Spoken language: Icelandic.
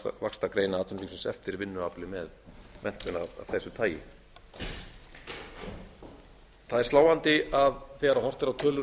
vaxtargreina atvinnulífsins eftir vinnuafli með menntun af þessu tagi það er sláandi að þegar horft er á tölur